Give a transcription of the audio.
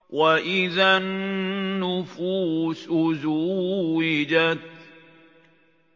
وَإِذَا النُّفُوسُ زُوِّجَتْ